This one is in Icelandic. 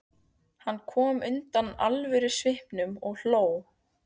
Hann kom undan alvörusvipnum og hló.